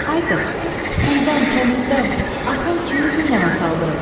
Ay qız, quldan, kənizdən, atam kimi zindana saldırıb?